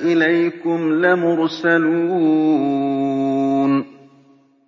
إِلَيْكُمْ لَمُرْسَلُونَ